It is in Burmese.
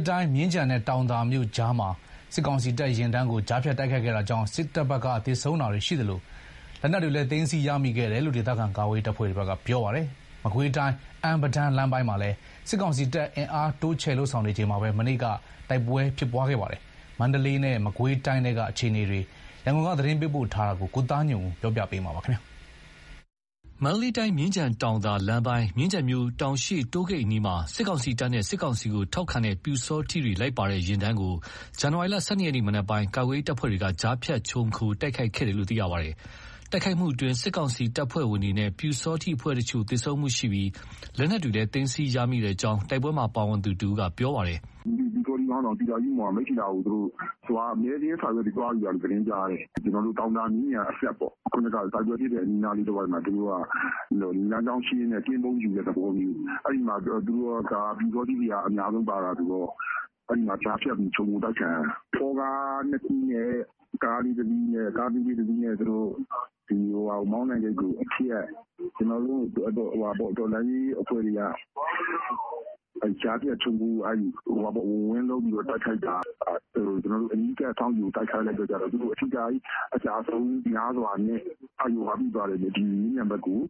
းတိုင်း မြင်းခြံနဲ့ တောင်သာမြို့ကြားမှာ စစ်ကောင်စီ တပ်ယာဉ်တန်းကို ကြားဖြတ်တိုက်ခိုက်ခဲ့တာကြောင့် စစ်တပ်ဘက်က သေဆုံးတာတွေရှိသလို လက်နက်တွေလည်း သိမ်းဆည်းရမိခဲ့တယ်လို့ ဒေသခံကာကွယ်ရေးတပ်ဖွဲ့တွေက ပြောပါတယ်။ မကွေးတိုင်း အမ်း-ပဒါန်း လမ်းပိုင်းမှာလည်း စစ်ကောင်စီတပ် အင်အားတိုးချဲ့ လုပ်ဆောင်နေချိန်မှာပဲ မနေ့က တိုက်ပွဲ ဖြစ်ပွားခဲ့တာပါ။ မန္တလေးတိုင်းနဲ့ မကွေးတိုင်းထဲက အခြေအနေတွေ သတင်းပေးပို့ချက်ကို ပြောပြမှာပါ။ မန္တလေးတိုင်း မြင်းခြံတောင်သာ လမ်းပိုင်း မြင်းခြံမြို့ တောင်ရှေ့တိုးဂိတ်အနီးမှာ စစ်တပ်နဲ့ စစ်တပ်ထောက်ခံတဲ့ ပျူစောထီးတွေ လိုက်ပါလာတဲ့ ယာဉ်တန်းကို ဇန်နဝါရီ ၁၂ ရက် မနက်ပိုင်းမှာ ကာကွယ်ရေး တပ်ဖွဲ့တွေက ကြားဖြတ်ခြုံခို တိုက်ခိုက်ခဲ့ပါတယ်။ ယာဉ်တန်းကို တိုက်ခိုက်မှုအတွင်း စစ်တပ်နဲ့ ပျူစောထီးအဖွဲ့က သေဆုံးတာရှိပြီး လက်နက်တွေလည်း သိမ်းဆည်းရမိခဲ့တဲ့အကြောင်း တိုက်ပွဲမှာ ပါဝင်ခဲ့သူ တဦးက အခုလို ပြောပါတယ်။ "ပျူစောထီးခေါင်းဆောင် သီတာယုမွန်က မိထ္ထီလာကို သွားပြီး မဲစာရင်း စာရွက်တွေ သွားယူတာလို့ သတင်းရတယ်။ တောင်သာမြင်းခြံအစပ် တိုက်ပွဲဖြစ်တဲ့ အနီးနားလေး တဝိုက်မှာ သူတို့က လမ်းကြောင်းရှင်းရင်းနဲ့ ကင်းပုန်းယူတဲ့ သဘောမျိုး။ အဲ့မှာ ပျူစောထီးတွေက အများဆုံးပါတာဆိုတော့ အဲ့မှာ ကြားဖြတ်ပြီး ခြုံခို တိုက်ခံရတာ။ ဖောကား ၂ စီးနဲ့ ကားသေးလေး ၁ စီးနဲ့ သူတို့ မောင်းတံဂိတ်ကိုအဖြတ် ကျွန်တော်တို့ တော်လှန်ရေး အဖွဲ့တွေက ကြားဖြတ် ခြုံခို ဝင်လုံးပြီးတော့တိုက်ခိုက်တာ အနီးကပ် စောင့်ကြို တိုက်ခိုက်လိုက်တော့ သူတို့ အထိခိုက် အကျဆုံးများစွာနဲ့ မြင်းခြံဘက်ကို